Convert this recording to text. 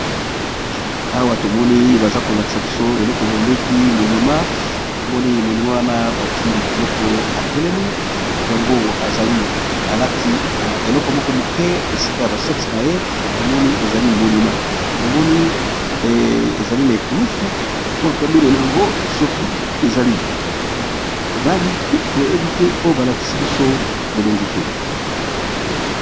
Awa tomoni baza kolakisa biso eloko bamengi monima tomoni moni wana bati motu moko atelemi motu yango ezali alatika eleko moko moke esika ya basexe na ye tomoni ezali monima tomoni ezali na ekulusu mapamene na yango soki ezali nani toyebi te mpo balakisi biso elongi te.